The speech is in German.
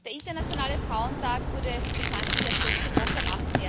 Der internationale Frauentag wurde bekanntlich erst letzte Woche, am